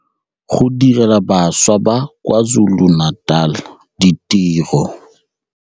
Go direla bašwa ba kwa KwaZulu-Natal ditiro